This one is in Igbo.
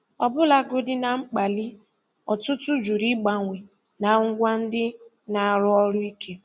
Ọbụlagodi na mkpali, ọtụtụ jụrụ ịgbanwee na ngwa ndị na-arụ ọrụ ike.